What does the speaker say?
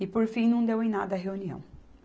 E, por fim, não deu em nada a reunião.